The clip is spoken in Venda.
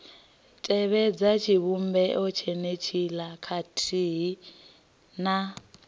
tevhedza tshivhumbeo tshenetshiḽa khathihi na